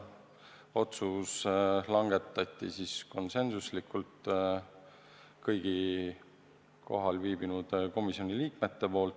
Otsuse poolt hääletasid konsensusega kõik kohal viibinud komisjoni liikmed.